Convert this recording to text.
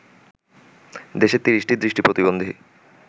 দেশের ৩০টি দৃষ্টি প্রতিবন্ধী